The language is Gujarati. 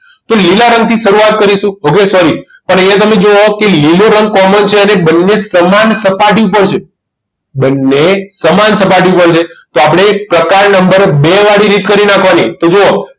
તો લીલા રંગથી શરૂઆત કરીશું okay sorry પણ અહીંયા તમે જુઓ લીલો રંગ common છે અને બંને સમાન સપાટી પર છે બંને સમાન સપાટી પર છે તો આપણે પ્રકાર નંબર બે વાળી રીત કરી નાખવાની તો જુઓ